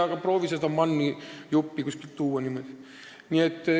Aga proovi sa MAN-i juppi kuskilt tuua!